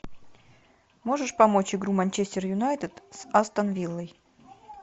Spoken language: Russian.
можешь помочь игру манчестер юнайтед с астон виллой